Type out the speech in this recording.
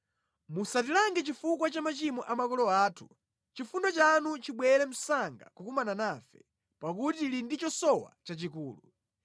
Musatilange chifukwa cha machimo a makolo athu chifundo chanu chibwere msanga kukumana nafe, pakuti tili ndi chosowa chachikulu.